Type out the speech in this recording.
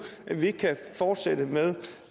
vi ikke kan fortsætte med